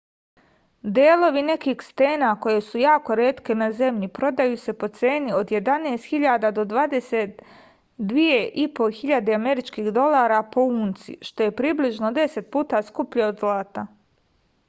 delovi nekih stena koje su jako retke na zemlji prodaju se po ceni od 11.000 do 22.500 američkih dolara po unci što je približno 10 puta skuplje od zlata